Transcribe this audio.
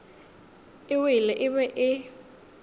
e wele e be e